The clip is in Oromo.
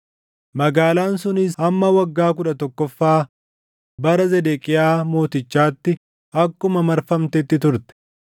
Magaalaan sunis hamma waggaa kudha tokkoffaa bara Zedeqiyaa Mootichaatti akkuma marfamtetti turte.